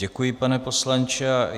Děkuji, pane poslanče.